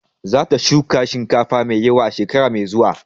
Za ta shuka shinkafa da yawa a shekara mai zuwa.